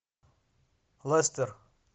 лестер